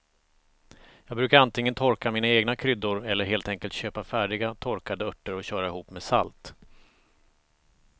Jag brukar antingen torka mina egna kryddor eller helt enkelt köpa färdiga torkade örter och köra ihop med salt.